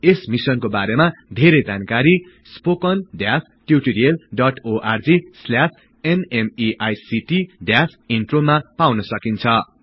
यस मिशनको बारेमा धेरै जानकारी httpspoken tutorialorgNMEICT Intro मा पाउन सकिन्छ